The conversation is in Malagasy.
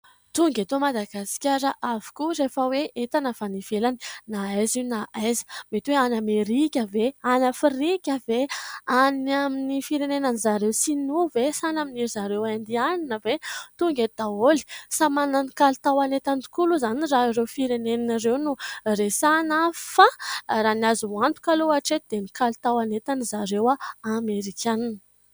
Tonga eto Madagasikara avokoa rehefa hoe entana avy any ivelany na aiza io na aiza. Mety hoe avy any Amerika ve, any Afrika ve, any amin'ny firenenan'ny ry zareo sinoa ve sa any amin'ny zareo indianina ve ? Tonga eto daholo. Samy manana ny kalitaon'entany tokoa aloha izany raha ireo firenena ireo no resahana fa raha ny azo antoka aloha hatreto dia ny kalitaon'entany ry zareo Amerikanina.